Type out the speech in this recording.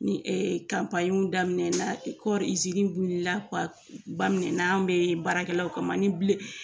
Ni daminɛ na kɔɔri wilila ba minɛna an bɛ baarakɛlaw kama ni